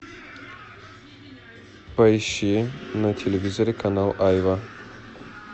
поищи на телевизоре канал айва